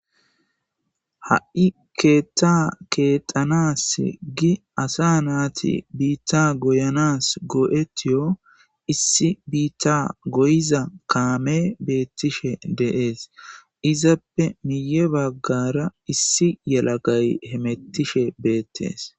ha7i keetta keexanas gi asa naati biitta goyanas go7etiyo issi biitta goyiza kaame beettishe deees izappe miye baggara issi yelagay hemettishe beettees